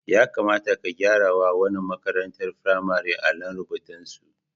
Ya kamata ki gyarawa wannan makarantar firamaren allon rurbutusu.